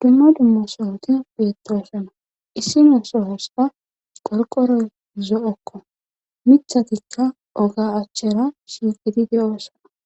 dumma dumma sohoti beettosona issi ne sohoska qorqoroy zo7okko mithatikka oga achchera shigidi de7oosona